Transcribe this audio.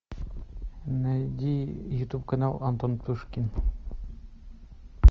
найди ютуб канал антон птушкин